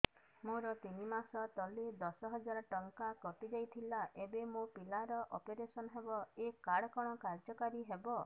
ମୋର ତିନି ମାସ ତଳେ ଦଶ ହଜାର ଟଙ୍କା କଟି ଯାଇଥିଲା ଏବେ ମୋ ପିଲା ର ଅପେରସନ ହବ ଏ କାର୍ଡ କଣ କାର୍ଯ୍ୟ କାରି ହବ